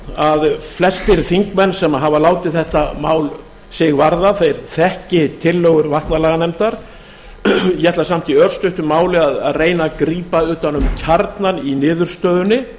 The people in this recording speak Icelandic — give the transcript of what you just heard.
að flestir þingmenn sem hafa látið þetta mál sig varða þeir þekki tillögur vatnalaganefndar ég ætla samt í örstuttu máli að reyna að grípa utan um kjarnann í niðurstöðunni